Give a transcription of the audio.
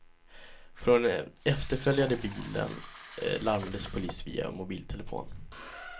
Från den efterföljande bilen larmades polis via mobiltelefon.